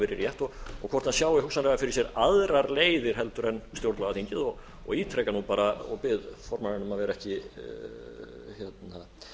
verið rétt og hvort hann sjái hugsanlega fyrir sér aðrar leiðir heldur en stjórnlagaþingið og ítreka nú bara og bið formanninn að